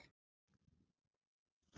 Ég hita lambið, sagði Óskar.